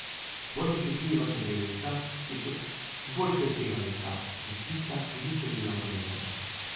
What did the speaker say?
Bolj občutljiva so drevesa, ki so bolj krhkega lesa in tista, ki niso bila obrezana.